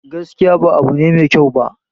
Gaskiya ba abu ne mai kyau ba